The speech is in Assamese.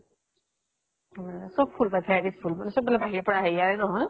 আহ চব ফুল পায় various ফুল। চব বিলাক বাহিৰৰ পৰা আহে। এয়াৰে নহয়।